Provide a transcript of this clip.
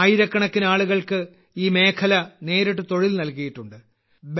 ആയിരക്കണക്കിന് ആളുകൾക്ക് ഈ മേഖല നേരിട്ട് തൊഴിൽ നൽകിയിട്ടുണ്ട്